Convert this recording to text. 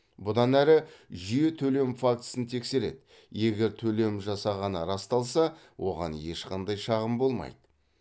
бұдан әрі жүйе төлем фактісін тексереді егер төлем жасағаны расталса оған ешқандай шағым болмайды